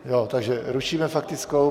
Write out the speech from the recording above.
Takže rušíme faktickou.